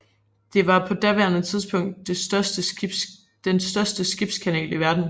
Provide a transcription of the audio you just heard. Det var på daværende tidspunkt den største skibskanal i verden